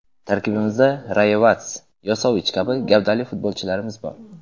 Tarkibimizda Rayevats, Yosovich kabi gavdali futbolchilarimiz bor.